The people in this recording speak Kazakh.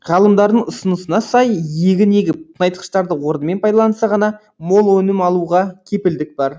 ғалымдардың ұсынысына сай егін егіп тыңайтқыштарды орнымен пайдаланса ғана мол өнім алуға кепілдік бар